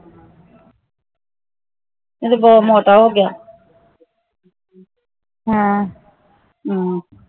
ਇਹ ਤਾ ਬਹੁਤ ਮੋਟਾ ਹੋ ਗਿਆ